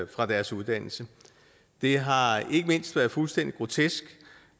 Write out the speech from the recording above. fra deres uddannelse det har ikke mindst være fuldstændig grotesk